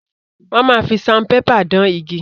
Wọ́n máa fi saunpépà dán igi.